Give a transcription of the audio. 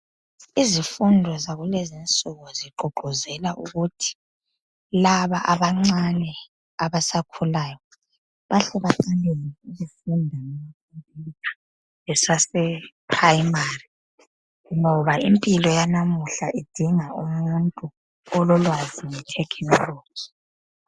Izifundo yakulezinsuku zigqugquzela ukuthi laba abancane abasakhulayo bahle bathole izifundo zamakhompiyutha besaseprimary ngoba impilo yanamuhla idinga umuntu ololwazi ngethekhinoloji.